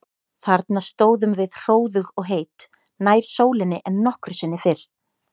Þarna stóðum við hróðug og heit, nær sólinni en nokkru sinni fyrr.